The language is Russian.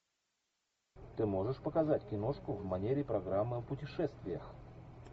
ты можешь показать киношку в манере программы о путешествиях